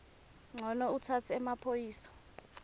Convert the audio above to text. ncono utsatse emaphoyisa